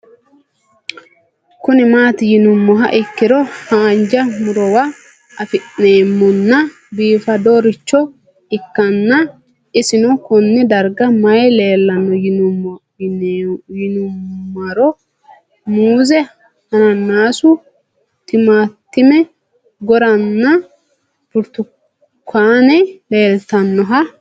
Kuni mati yinumoha ikiro hanja murowa afine'mona bifadoricho ikana isino Kone darga mayi leelanno yinumaro muuze hanannisu timantime gooranna buurtukaane leelitoneha